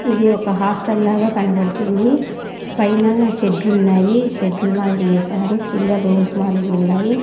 ఇది ఒక హాస్టల్ లాగా కనబడుతుంది పైన షెడ్లు ఉన్నాయి షెడ్లు మాదిరిగా ఏస్నారు కింద రూమ్స్ మాదిరిగున్నాయి.